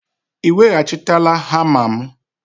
Ị weghachitela hama m?